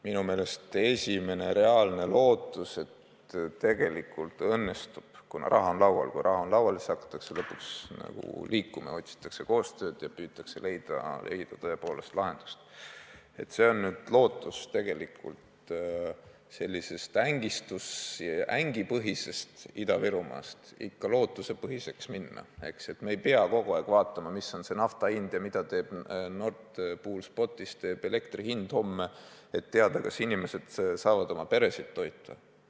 Minu meelest on see esimene reaalne lootus, et õnnestub – kuna raha on juba laual, sest kui raha on laual, siis hakatakse lõpuks liigutama, otsitakse koostöövõimalusi ja püütakse tõepoolest lahendusi leida – sellisest ängipõhisest Ida-Virumaast teha ikka lootusepõhine, et me ei peaks kogu aeg vaatama, mis on nafta hind ja mida teeb Nord Pool Spotis homme elektri hind, et teada, kas inimesed saavad oma peresid toita.